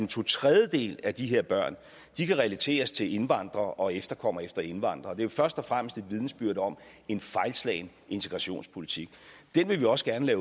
to tredjedele af de her børn kan relateres til indvandrere og efterkommere af indvandrere er jo først og fremmest et vidnesbyrd om en fejlslagen integrationspolitik den vil vi også gerne